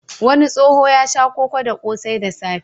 Wani tsoho ya sha koko da ƙosai da safe.